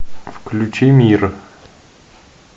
включи мир